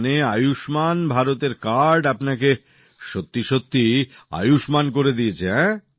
তার মানে আয়ুষ্মান ভারত এর কার্ড আপনাকে সত্যিসত্যিই আয়ুষ্মান করে দিয়েছে